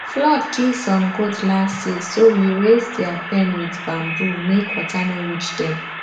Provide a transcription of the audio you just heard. flood kill some goat last year so we raise their pen with bamboo make water no reach dem